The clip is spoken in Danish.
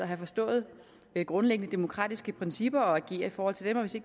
have forstået grundlæggende demokratiske principper og agere i forhold til dem og hvis de